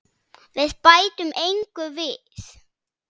Við bætum engu við.